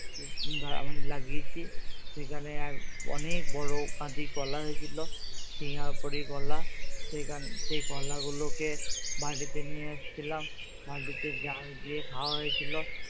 তো আমি লাগিয়েছি সেখানে আহ অনেক বড়ো কাঁদি কলা হয়েছিল সিয়াপুরী কলা সেখান সেই কলা গুলোকে বাড়িতে নিয়ে এসছিলাম ভাঁটিতে জাক দিয়ে খাওয়া হয়েছিল।